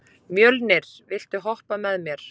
Mjölnir, viltu hoppa með mér?